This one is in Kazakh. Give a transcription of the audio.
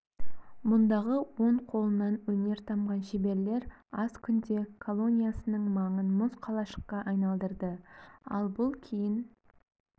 мұндағы он қолынан өнер тамған шеберлер аз күнде колониясының маңын мұз қалашыққа айналдырды ал бұл кейін